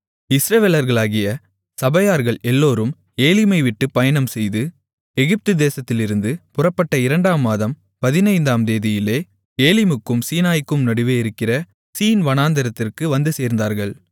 இஸ்ரவேலர்களாகிய சபையார்கள் எல்லோரும் ஏலிமைவிட்டு பயணம்செய்து எகிப்து தேசத்திலிருந்து புறப்பட்ட இரண்டாம் மாதம் பதினைந்தாம் தேதியிலே ஏலிமுக்கும் சீனாய்க்கும் நடுவே இருக்கிற சீன் வனாந்திரத்திற்கு வந்துசேர்ந்தார்கள்